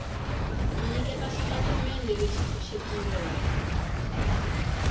ku nyiketa xitatimendhe lexi pfuxetiweke